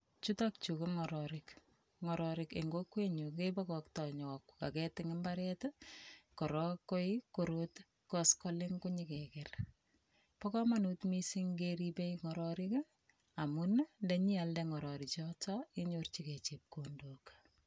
Chutok chu ko ngororik, ngirorik en kokwenyun kebokoktoo koaget en mbaret, ak koskoleng koonyon keger. Bo komonut missing keriib ngororik amun ingealda ngororik chotet ngenyorchingei chepkondook